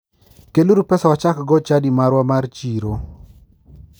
Kel uru pesa wachaggo chadi marwa mar chiro